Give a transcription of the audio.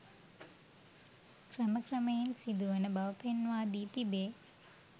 ක්‍රම ක්‍රමයෙන් සිදු වන බව පෙන්වා දී තිබේ.